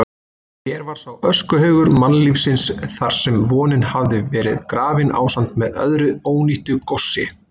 Hér var sá öskuhaugur mannlífsins þarsem vonin hafði verið grafin ásamt með öðru ónýtu góssi.